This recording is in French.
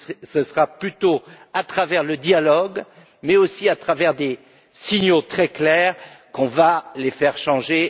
Ce sera plutôt à travers le dialogue mais aussi à travers des signaux très clairs qu'on les fera changer.